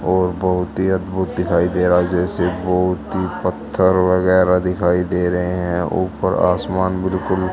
और बहुत ही अद्भुत दिखाई दे रहा है जैसे बहुत ही पत्थर वगैरा दिखाइ दे रहे हैं ऊपर आसमान बिल्कुल--